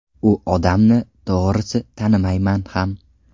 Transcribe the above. U odamni, to‘g‘risi, tanimayman ham.